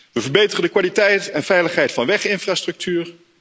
We verbeteren de kwaliteit en veiligheid van weginfrastructuur.